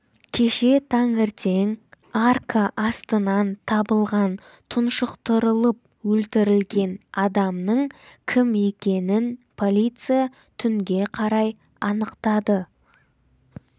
кеше таңертең арка астынан табылған тұншықтырылып өлтірілген адамның кім екенін полиция түнге қарай анықтады